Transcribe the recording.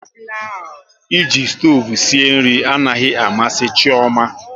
E ji stoovu sie nri anaghị amasị Chioma